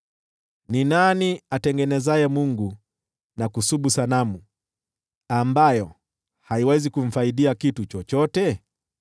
Ni nani atengenezaye mungu na kusubu sanamu, ambayo haiwezi kumfaidia kitu chochote?